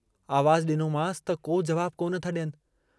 आवाजु ॾिनोमांस त को जवाबु कोन था ॾियनि।